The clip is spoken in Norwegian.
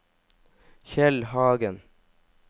Kjell Hagen